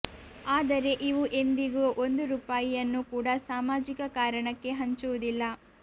ಆದರೆ ಇವು ಎಂದಿಗೂ ಒಂದು ರೂಪಾಯಿಯನ್ನು ಕೂಡಾ ಸಾಮಾಜಿಕ ಕಾರಣಕ್ಕೆ ಹಂಚುವುದಿಲ್ಲ